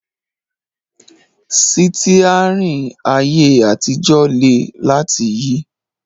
Sítíárìn ayé àtijọ́ le láti yí